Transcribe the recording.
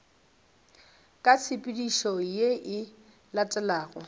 ka tshepedišo ye e latelago